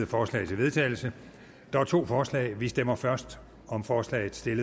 forslag til vedtagelse der er to forslag vi stemmer først om forslag til